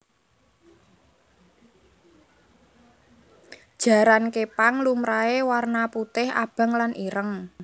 Jaran képang lumrahé warna putih abang lan ireng